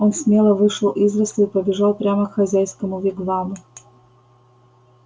он смело вышел из лесу и побежал прямо к хозяйскому вигваму